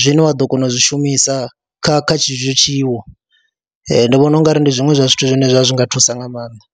zwine wa ḓo kona u zwi shumisa kha kha tshetsho tshiwo, ndi vhona u nga ri ndi zwiṅwe zwa zwithu zwine zwa nga thusa nga maanḓa.